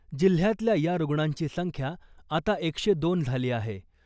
जिल्ह्यातल्या या रुग्णांची संख्या आता एकशे दोन झाली आहे .